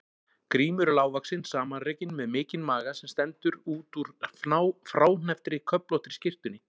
Grímur er lágvaxinn, samanrekinn, með mikinn maga sem stendur út úr fráhnepptri köflóttri skyrtunni.